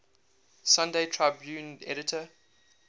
sunday tribune editor